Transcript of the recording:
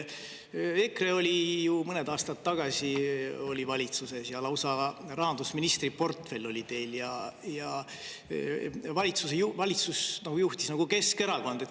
EKRE oli mõned aastad tagasi valitsuses ja lausa rahandusministri portfell oli teil ja valitsust juhtis nagu Keskerakond.